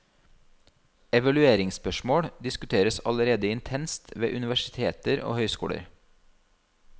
Evalueringsspørsmål diskuteres allerede intenst ved universiteter og høyskoler.